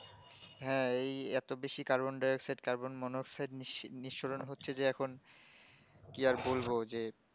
হ্যাঁ এই এতো বেশি carbon dioxide carbon monoxide নিসি নিস্সরণ হচ্ছে এখন কি আর বলবো যে